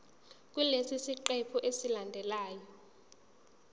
kulesi siqephu esilandelayo